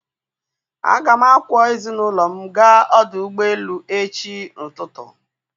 a ga m akwọ ezinụlọ m gaa ọdụ ụgbọ elu echi ụtụtụ.